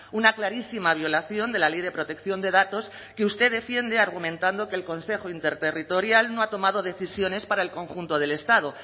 una clarísima violación de la ley de protección de datos que usted defiende argumentando que el consejo interterritorial no ha tomado decisiones para el conjunto del estado